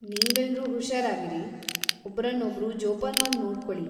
ನೀವೆಲ್ರೂ ಹುಷಾರಾಗಿರಿ, ಒಬ್ರನ್ನೊಬ್ರು ಜೋಪಾನ್ವಾಗ್ ನೋಡ್ಕೊಳಿ.